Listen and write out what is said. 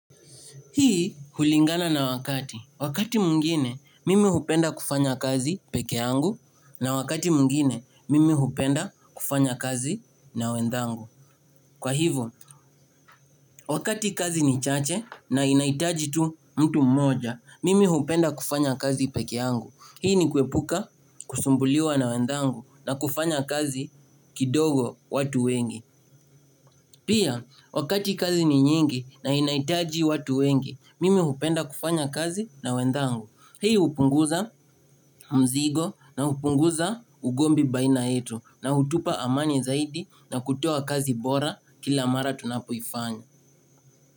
Hii hulingana na wakati. Wakati mwingine mimi hupenda kufanya kazi peke yangu na wakati mwingine mimi hupenda kufanya kazi na wendhangu. Kwa hivyo, wakati kazi ni chache na inaitaji tu mtu mmoja, mimi hupenda kufanya kazi peke yangu. Hii ni kuepuka kusumbuliwa na wendhangu na kufanya kazi kidogo watu wengi. Pia, wakati kazi ni nyingi na inaitaji watu wengi, mimi upenda kufanya kazi na wendhangu. Hii upunguza mzigo na upunguza ugombi baina yetu na hutupa amani zaidi na kutoa kazi bora kila mara tunapoifanya.